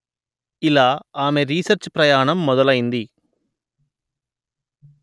ఇలా ఆమె రీసెర్చ్ ప్రయాణం మొదలైంది